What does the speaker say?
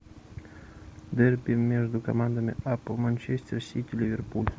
дерби между командами апл манчестер сити ливерпуль